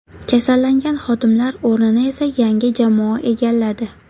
Kasallangan xodimlar o‘rnini esa yangi jamoa egalladi.